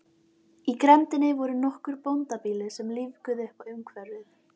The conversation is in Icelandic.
Í grenndinni voru nokkur bóndabýli sem lífguðu uppá umhverfið.